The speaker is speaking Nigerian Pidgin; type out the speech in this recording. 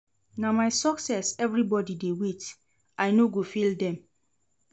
Na my success everybodi dey wait, I no go fail dem.